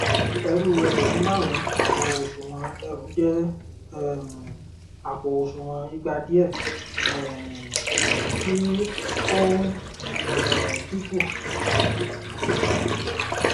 ẹrú ẹgbẹrun máàrún àpò òsùnwọn ẹrù jẹ um àpò òsùnwọn ìgba diẹ um tí ó ń um dínkù